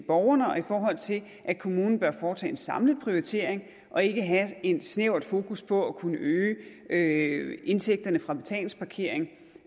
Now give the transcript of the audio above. borgerne og i forhold til at kommunerne bør foretage en samlet prioritering og ikke have et snævert fokus på at kunne øge øge indtægterne fra betalingsparkering